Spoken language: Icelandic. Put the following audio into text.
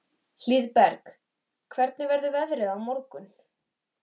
Það var orðið langt síðan þau höfðu verið samvistum daglangt.